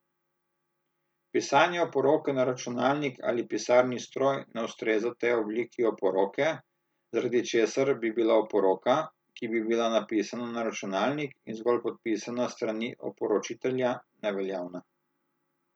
Pisanje oporoke na računalnik ali pisalni stroj ne ustreza tej obliki oporoke, zaradi česar bi bila oporoka, ki bi bila napisana na računalnik in zgolj podpisana s strani oporočitelja, neveljavna.